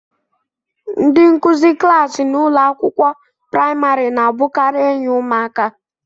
Ndị nkuzi klaasị n'ụlọ akwụkwọ praịmarị na-abụkarị enyi ụmụaka.